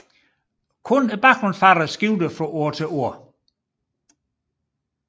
Kun baggrundsfarven skiftede fra år til år